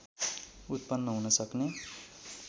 उत्पन्न हुनसक्ने